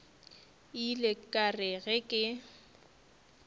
ile ka re ge ke